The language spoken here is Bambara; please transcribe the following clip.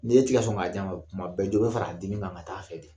N'e ti ka sɔn k'a d'a ma tuma bɛɛ jɔ bɛ fara a dimi kan ka ta'a fɛ de